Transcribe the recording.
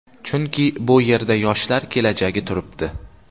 Chunki bu yerda yoshlar kelajagi turibdi.